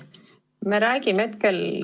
Me räägime hetkel alaealistest.